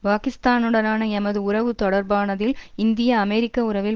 பாக்கிஸ்தானுடனான எமது உறவு தொடர்பானதில் இந்தியஅமெரிக்க உறவில்